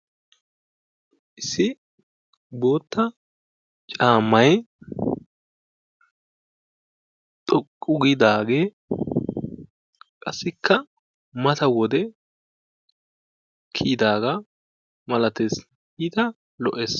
Issi boottaa caammay xoqqu giidaagee qassikka mata wode kidaaga malattes, iitaa lo"ees.